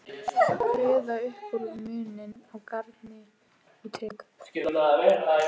Kveða upp úr um muninn á garni og trékubb.